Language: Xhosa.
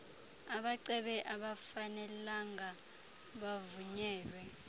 abacebe abafanelanga bavunyelwe